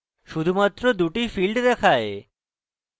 শুধুমাত্র দুটি fields দেখায়